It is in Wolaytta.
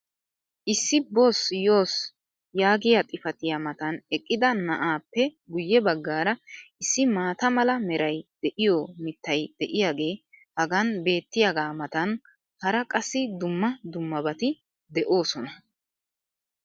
Issi boossi yoossi yaagiya xifattiya matan eqqida na'aappe guye bagaara issi maata mala meray de'iyo mitay diyaagee hagan beetiyaagaa matan hara qassi dumma dummabati de'oosona.